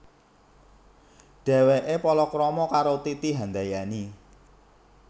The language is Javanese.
Dhèwèké palakrama karo Titi Handayani